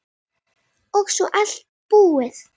Og svo allt búið.